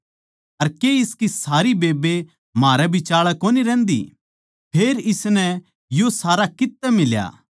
अर के इसकी सारी बेब्बे म्हारै बिचाळै कोनी रह्न्दी फेर इसनै यो सारा कित्त तै मिल्या